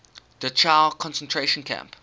dachau concentration camp